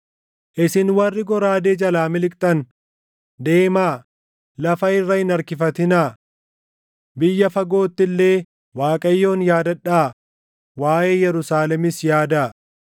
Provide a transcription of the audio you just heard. Isin warri goraadee jalaa miliqxan, deemaa; lafa irra hin harkifatinaa! Biyya fagootti illee Waaqayyoon yaadadhaa; waaʼee Yerusaalemis yaadaa.”